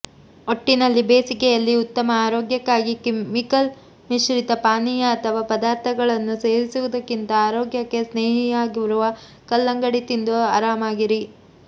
ಒಟ್ಟಿನಲ್ಲಿ ಬೇಸಿಗೆಯಲ್ಲಿ ಉತ್ತಮ ಆರೋಗ್ಯಕ್ಕಾಗಿ ಕೆಮಿಕಲ್ ಮಿಶ್ರಿತ ಪಾನೀಯ ಅಥವಾ ಪದಾರ್ಥಗಳನ್ನು ಸೇವಿಸುವುದಕ್ಕಿಂತ ಆರೋಗ್ಯಕ್ಕೆ ಸ್ನೇಹಿಯಾಗಿರುವ ಕಲ್ಲಂಗಡಿ ತಿಂದು ಆರಾಮಾಗಿರಿ